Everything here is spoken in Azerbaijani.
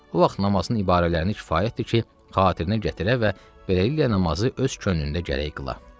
O vaxt namazın ibarələrini kifayətdir ki, xatirə gətirə və beləliklə namazı öz könlündə gərək qıla.